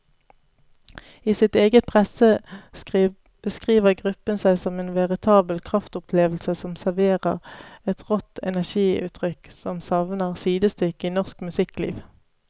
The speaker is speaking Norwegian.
I sitt eget presseskriv beskriver gruppen seg som en veritabel kraftopplevelse som serverer et rått energiutrykk som savner sidestykke i norsk musikkliv.